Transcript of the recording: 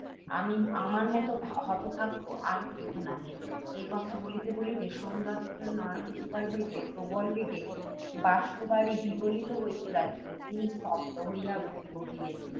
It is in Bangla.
আমার মত হতভাগ্য আর কেহ নাই— এই কথা বলিতে বলিতে, সোমদত্তের নয়নযুগল হইতে প্রবল বেগে বাষ্পবারি বিগলিত হইতে লাগিল। তিনি স্তব্ধ হইয়া রহিলেন,